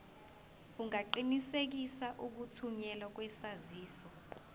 ungaqinisekisa ukuthunyelwa kwesaziso